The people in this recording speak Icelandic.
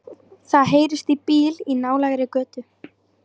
Það heyrist í bíl í nálægri götu.